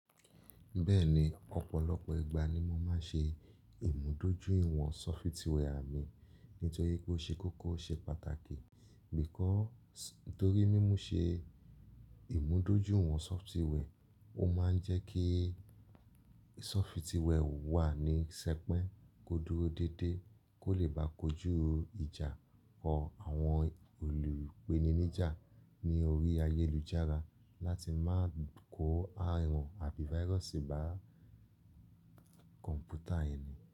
Bẹ́ẹ̀ni, ọ̀pọ̀lọpọ̀ ìgbà ni mo máa ń ṣe ìmúdójúìwọ̀n sọfitiwẹ à mi. Nítorí pé ó ṣe kókó ṣe pàtàkì. Because, ntorí mímu ṣe ìmúdójúìwọ̀n sọfitiwẹ, o ó máa ń jẹ́ kí sọfitiwẹ wà ní sẹpẹ́, kó dúró déédéé, kó lè bá kojú ìjà or àwọn olùpéninijà ní orí ayélujára láti má kò àrùn àbí váírọ̀sì bá kọ̀m̀pútà ẹni.